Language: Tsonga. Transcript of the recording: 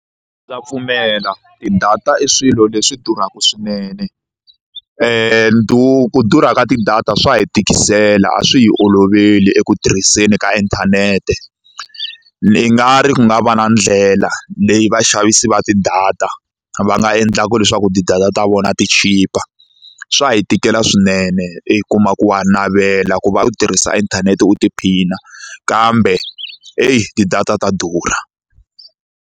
Ndza pfumela ti-data i swilo leswi durhaka swinene ku durhaka tidata swa hi tikisela a swi hi olovele eku tirhiseni ka inthanete ni nga ri ku nga va na ndlela leyi vaxavisi va ti-data va nga endlaka leswaku ti-data ta vona ti chipa swa hi tikela swinene i kuma ku wa navela ku va u tirhisa inthanete u tiphina kambe eyi ti-data ta durha.